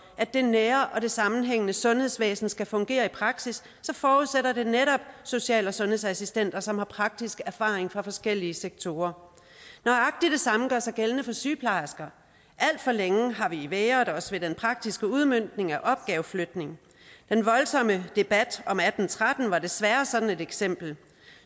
at det nære og sammenhængende sundhedsvæsen skal fungere i praksis så forudsætter det netop social og sundhedsassistenter som har praktisk erfaring fra forskellige sektorer nøjagtig det samme gør sig gældende for sygeplejersker alt for længe har vi vægret os ved den praktiske udmøntning af opgaveflytningen den voldsomme debat om atten tretten var desværre sådan et eksempel